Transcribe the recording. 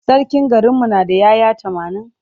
Sarkin garinmu na da ‘ya’ya tamanin.